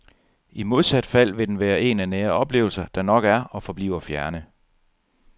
I modsat fald vil den være en af nære oplevelser, der nok er og forbliver fjerne.